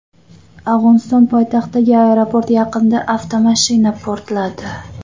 Afg‘oniston poytaxtidagi aeroport yaqinida avtomashina portladi.